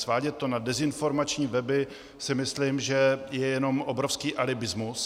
Svádět to na dezinformační weby si myslím, že je jenom obrovský alibismus.